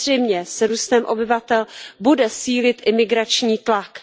Samozřejmě s růstem obyvatel bude sílit i migrační tlak.